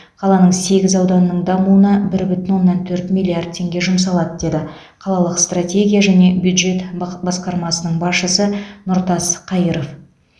қаланың сегіз ауданының дамуына бір бүтін оннан төрт миллиард теңге жұмсалады деді қалалық стратегия және бюджет бақ басқармасының басшысы нұртас қайыров